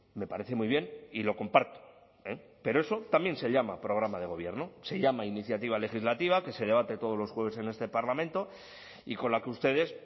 me parece muy bien y lo comparto pero eso también se llama programa de gobierno se llama iniciativa legislativa que se debate todos los jueves en este parlamento y con la que ustedes